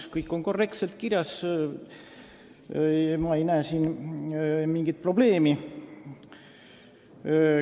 Kõik on korrektselt kirjas, ma ei näe siin mingit probleemi.